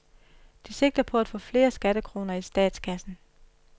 De sigter på at få flere skattekroner i statskassen.